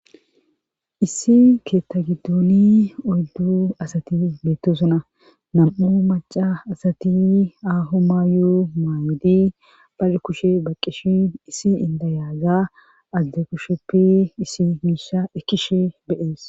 issi keetta giddoni oyddu asati beettosuna nam7u maca asati ahu ma yoo maayidi pale kushe baqqishin issi indayaaza azade kusheppi isi miisha ekkishe beyees